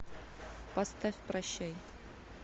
поставь прощай